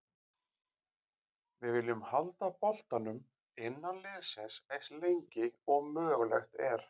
Við viljum halda boltanum innan liðsins eins lengi og mögulegt er.